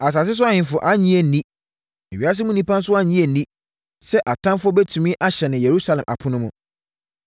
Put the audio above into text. Asase so ahemfo annye anni, ewiase mu nnipa nso annye anni sɛ atamfoɔ bɛtumi ahyɛne Yerusalem apono mu.